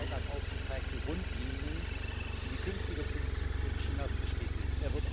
18. Parteitag aufgezeigten Grundlinien für die künftige Politik Chinas bestätigen.